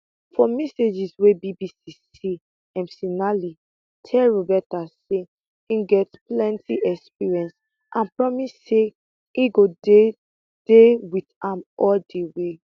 for messages wey bbc see mcinally tell roberta say e get plenti experience and promise say e go dey dey wit am all di way